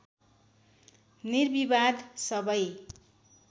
निर्विवाद सबै